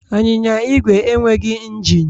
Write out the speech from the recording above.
Anyịnya Igwe enweghị injin